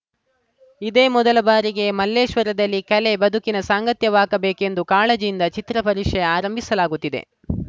ಇದೇ ಮೊದಲ ಬಾರಿಗೆ ಮಲ್ಲೇಶ್ವರದಲ್ಲಿ ಕಲೆ ಬದುಕಿನ ಸಾಂಗತ್ಯವಾಗಬೇಕೆಂಬ ಕಾಳಜಿಯಿಂದ ಚಿತ್ರ ಪರಿಷೆ ಆರಂಭಿಸಲಾಗುತ್ತಿದೆ